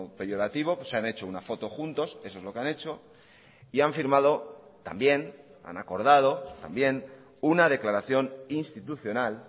peyorativo se han hecho una foto juntos eso es lo que han hecho y han firmado también han acordado también una declaración institucional